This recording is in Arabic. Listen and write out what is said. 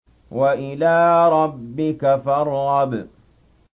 وَإِلَىٰ رَبِّكَ فَارْغَب